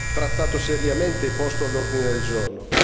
trattato seriamente e posto all'ordine del giorno.